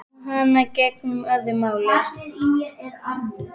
Um hana gegndi öðru máli.